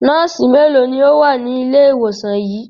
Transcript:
Nọ́ọ́sì mélòó ni ó wà ní ilé-ìwòsàn yìí?